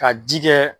Ka ji kɛ